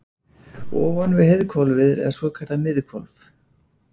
Ofan við heiðhvolfið er svokallað miðhvolf.